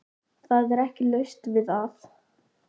Það er ekki laust við að